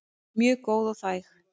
Mjög góð og þæg.